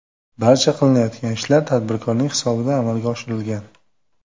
Barcha qilinayotgan ishlar tadbirkorning hisobidan amalga oshirilgan.